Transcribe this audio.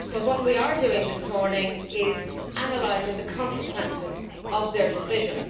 But what we are doing this morning is analysing the consequences of their decision.